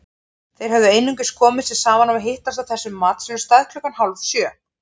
Þeir höfðu einungis komið sér saman um að hittast á þessum matsölustað klukkan hálfsjö.